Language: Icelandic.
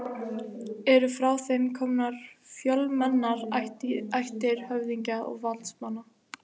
Eru frá þeim komnar fjölmennar ættir höfðingja og valdsmanna.